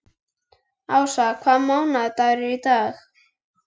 Asía, hvaða mánaðardagur er í dag?